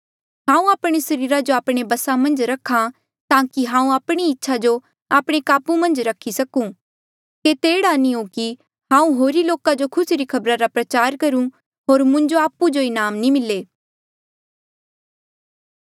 हांऊँ आपणे सरीरा जो आपणे बसा मन्झ रखा ताकि हांऊँ आपणी ही इच्छा जो आपणे काबू मन्झ रख्ही सकूं केते एह्ड़ा नी हो कि हांऊँ होरी लोका जो खुसी री खबरा रा प्रचार करूं होर मुंजो आपु जो ही इनाम नी मिले